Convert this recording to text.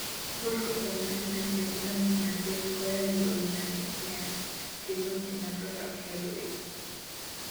"Paul ko barnotindet netindo kimnatet - koyae konyiganit nea," kimwa chi noto ab Norway.